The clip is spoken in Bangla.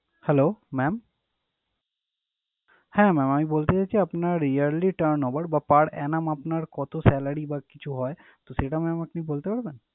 Hello mam! হ্যাঁ mam আমি বলতে চাচ্ছি আপনার yearly turn over বা per annum আপনার কত salary বা কিছু হয় তো সেটা আপনি বলতে পারবেন?